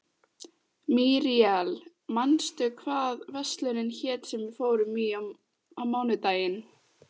Míríel, manstu hvað verslunin hét sem við fórum í á mánudaginn?